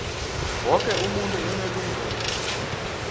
woke umuntu unelungelo